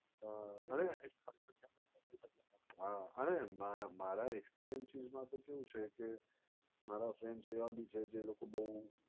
હા અને હા અને મારા experiences મા તો કેવું છે કે મારા friends જેવા ભી છે તે લોકો બોવ